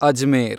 Ajmer